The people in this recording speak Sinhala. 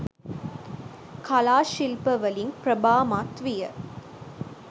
කලා ශිල්ප වලින් ප්‍රභාමත් විය.